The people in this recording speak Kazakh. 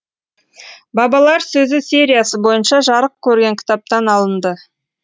бабалар сөзі сериясы бойынша жарық көрген кітаптан алынды